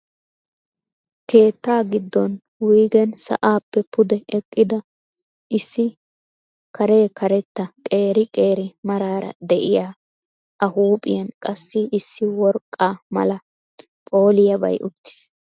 Keetta gidon wuygeen sa'aappe pude eqqida issi karekaretta qeeri qeeri marara de'iyaa a huuphphiyaan qassi issi worqqaa mala phooliyabay uttiis.